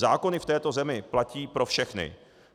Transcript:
Zákony v této zemi platí pro všechny.